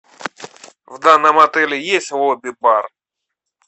в данном отеле есть лобби бар